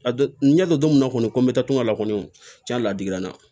A don n y'a dɔn don min na kɔni ko n bɛ taa tunga la kɔni jɛn ladigi na